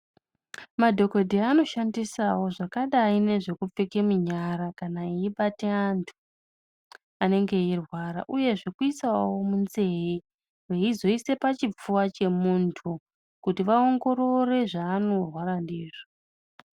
Madhokodheya anoshandisawo zvakadai nezvekupfeke munyara kana veibata antu anenge eirwara uye zvekuisawo munzee veizoise pachipfuwa chemuntu kuti vaongorore zvaanorwara ndizvo.